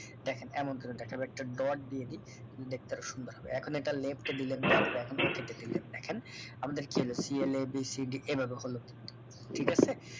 দেখেন এমন করে দেখাবো একটা dot দিয়ে দি দেখতে আরো সুন্দর হবে এখন এটা left এ দিলেন দেয়ার পরে এখন okay তে দিলেন দেখেন আমাদের কি হলো c l a b c d এভাবে হলো ঠিক আছে